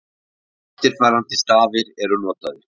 Eftirfarandi stafir eru notaðir: